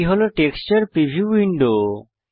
এটি হল texture preview window